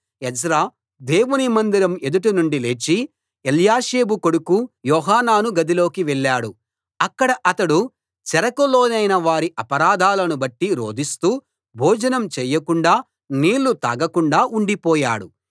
Ezra దేవుని మందిరం ఎదుట నుండి లేచి ఎల్యాషీబు కొడుకు యోహానాను గదిలోకి వెళ్ళాడు అక్కడ అతడు చెరకు లోనైన వారి అపరాధాలను బట్టి రోదిస్తూ భోజనం చేయకుండా నీళ్ళు తాగకుండా ఉండిపోయాడు